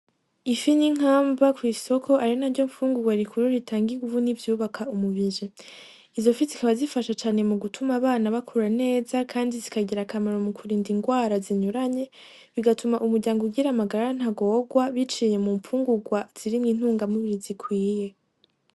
Ifi n'intamba kw'isoko, ari naryo mfungurwa rikuru ritanga inguvu n'ivyubaka umubiri, izo fi zikaba zifasha cane mu gutuma abana bakura neza kandi zikagira akamaro mu kurinda ingwara zinyuranye, bigatuma umuryango ugira amagara ntagorwa biciye mu mfungurwa zirimwo intungamubiri zikwiye.